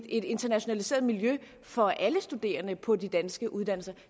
et internationaliseret miljø for alle studerende på de danske uddannelser